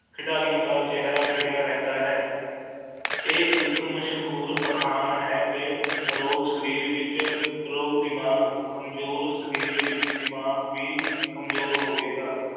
ਖਿਡਾਰੀਆਂ ਦਾ ਚੇਹਰਾ ਖਿੜਿਆ ਰਹਿੰਦਾ ਹੈ ਇਹ ਇੱਕ ਮਸ਼ਹੂਰ ਅਖਾਣ ਹੈ ਕਿ ਆਰੋਗ ਸਰੀਰ ਵਿਚ ਆਰੋਗ ਦਿਮਾਗ ਕਮਜ਼ੋਰ ਸਰੀਰ ਵਿਚ ਦਿਮਾਗ ਵੀ ਕਮਜ਼ੋਰ ਹੋਵੇਗਾ